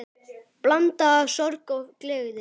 Blanda af sorg og gleði.